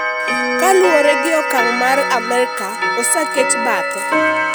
kaluwore gi okang' mare, Amerka oseket bathe."